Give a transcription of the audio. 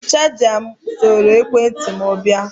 Chaja soro ekwe ntị m were bịa